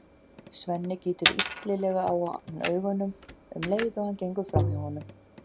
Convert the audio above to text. Svenni gýtur illilega á hann augunum um leið og hann gengur fram hjá honum.